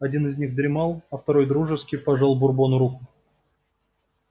один из них дремал а второй дружески пожал бурбону руку